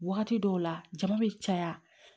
Wagati dɔw la jama bɛ caya